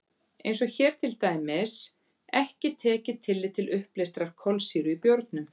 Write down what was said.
Eins er hér til dæmis ekki tekið tillit til uppleystrar kolsýru í bjórnum.